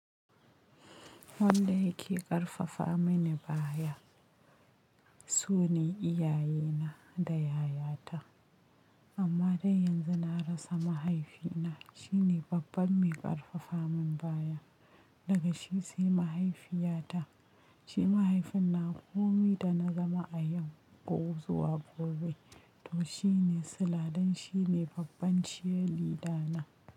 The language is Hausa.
Wanda yake ƙarfafa mani baya su ne iyayena da yayata. Amma dai yanzu na rasa mahaifina. Shine babban mai ƙarfafa min baya. Daga shi sai mahaifiyata. Shi mahaifin nawa komai da na zama a yau ko zuwa gobe. To shine sila dan shine babban shiridana.